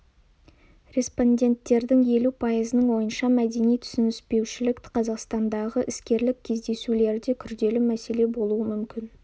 респонденттердің елу пайызының ойынша мәдени түсініспеушілік қазақстандағы іскерлік кездесулерде күрделі мәселе болуы мүмкін